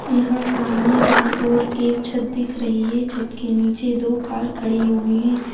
यहाँ सामने की ओर एक छत दिख रही है छत के नीचे दो कार खड़ी हुई है।